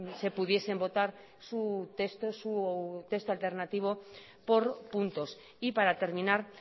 se pudiesen votar su texto su texto alternativo por puntos y para terminar